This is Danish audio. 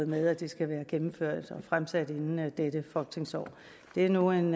med at det skal være gennemført og fremsat inden udløbet af dette folketingsår det er nu en